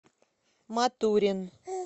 матурин